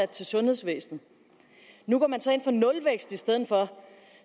til sundhedsvæsenet nu går man så ind for nulvækst i stedet for